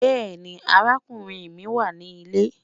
Bẹẹni, àràkùnrin mi wà ní ilẹ̀.